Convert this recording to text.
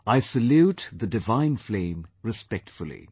I salute the divine flame respectfully